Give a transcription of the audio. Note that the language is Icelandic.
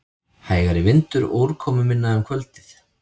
Hægari vindur og úrkomuminna um kvöldið